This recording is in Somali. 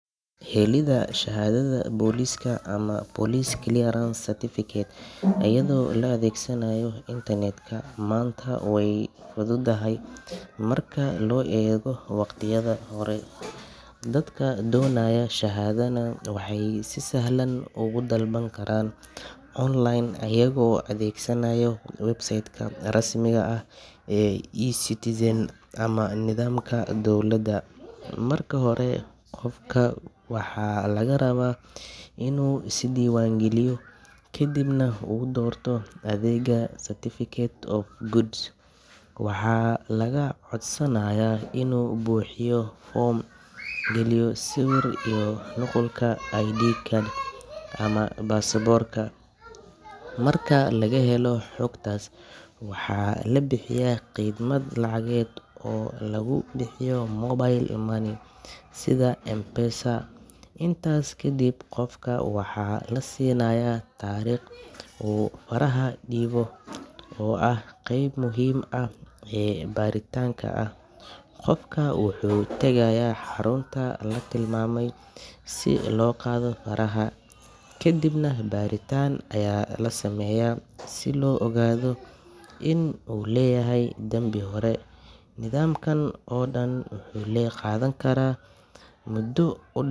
Helidda shahaadada booliska ama Police Clearance Certificate iyadoo la adeegsanayo internet-ka maanta way fududahay marka loo eego waqtiyadii hore. Dadka doonaya shahaadadan waxay si sahlan ugu dalban karaan online iyagoo adeegsanaya website-ka rasmiga ah ee eCitizen ama nidaamka dowladda. Marka hore, qofka waxaa laga rabaa inuu iska diiwaangeliyo, kadibna uu doorto adeegga certificate of good conduct. Waxaa laga codsanayaa inuu buuxiyo foom, geliyo sawir iyo nuqulka ID card ama baasaboorka. Marka laga helo xogtaas, waxaa la bixiyaa khidmad lacageed oo lagu bixiyo mobile money sida M-Pesa. Intaas kadib, qofka waxaa la siinayaa taariikh uu faraha dhiibo oo ah qayb muhiim ah oo baaritaanka ah. Qofka wuxuu tagayaa xarunta la tilmaamay si loo qaado faraha, kadibna baaritaan ayaa la sameeyaa si loo ogaado in uu leeyahay dambi hore. Nidaamkan oo dhan wuxuu qaadan karaa muddo u.